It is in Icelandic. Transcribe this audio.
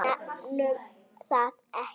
Nefnum það ekki.